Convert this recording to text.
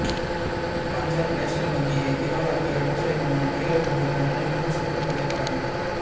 Punjab National வங்கியை திவாலாக்கிய மோசடி மன்னன் நீரவ் மோடி லண்டனில் ஊர் சுற்றும் புகைப்படம்